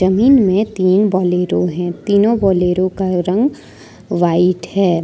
Mean में तीन Bolero है तीनों बोलेरो का रंग व्हाइट है।